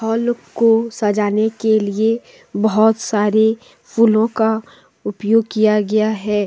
Hall को सजाने के लिए बहोत सारे फूलों का उपयोग किया गया है।